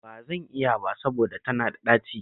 Ba zan iya ba saboda tana da ɗaci